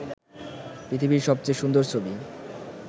পৃথিবীর সবচেয়ে সুন্দর ছবি